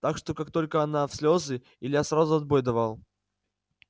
так что как только она в слезы илья сразу отбой давал